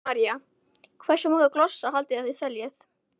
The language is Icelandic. Helga María: Hversu marga glossa haldið þið að þið seljið?